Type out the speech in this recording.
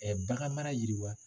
bagan mara yiriwa.